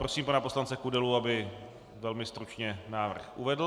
Prosím pana poslance Kudelu, aby velmi stručně návrh uvedl.